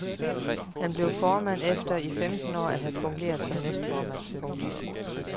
Han blev formand efter i femten år at have fungeret som næstformand. punktum